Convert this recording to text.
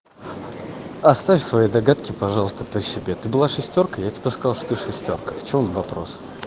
оставь свои догадки пожалуйста при себе ты была шестёркой я тебе сказал что ты шестёрка в чём вопрос